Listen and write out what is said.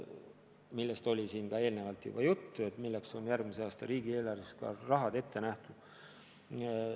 Siin oli enne juba juttu, et selleks on järgmise aasta riigieelarves raha ette nähtud.